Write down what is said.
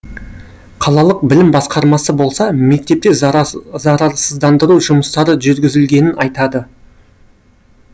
қалалық білім басқармасы болса мектепте зарарсыздандыру жұмыстары жүргізілгенін айтады